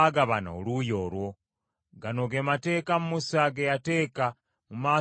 Gano ge mateeka Musa ge yateeka mu maaso g’abaana ba Isirayiri,